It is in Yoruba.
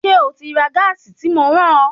Ṣé o ti lọ ra gáàsì tí mo rán ọ?